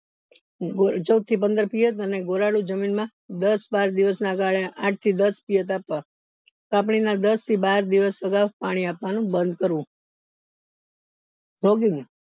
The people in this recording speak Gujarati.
ચૌદ થી પંદર અનર ગોરાળું જમીન માં દસ બાર દિવસ ના ગાલે આંઠ થી દસ આપવા તપની ના દસ બાર દિવસ અગવ પાણી આવાનું બન કરવું